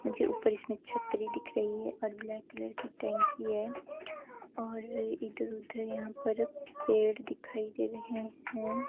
मुझे ऊपर इसमें छत्री दिख रही है और ब्लैक कलर की टंकी है और इधर उधर यहां पर पेड़ दिखाई दे रहे हैं।